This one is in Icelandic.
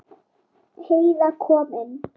Heiða kom inn.